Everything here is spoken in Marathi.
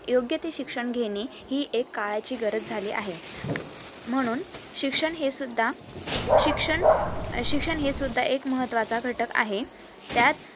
योग्यते शिक्षण घेणे हि एक काळाची गरज झाली आहे आह म्हणून शिक्षण हे सुद्धा शिक्षण अं शिक्षण हे सुद्धा एक महत्वाचा घटक आहे त्यात